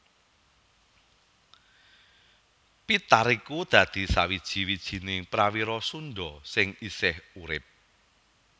Pitar iku dadi sawiji wijiné prawira Sundha sing isih urip